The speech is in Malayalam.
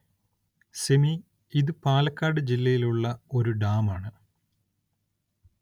സിമി ഇതു പാലക്കാട് ജില്ലയില്‍ ഉള്ള ഒരു ഡാം ആണ്